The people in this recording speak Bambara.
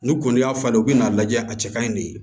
N'u kɔni y'a falen u bɛ n'a lajɛ a cɛ kaɲi de